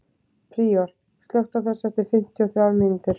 Príor, slökktu á þessu eftir fimmtíu og þrjár mínútur.